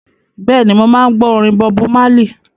Bẹ́ẹ̀ni, mo máa ń gbọ́ orin Bọbu Málì.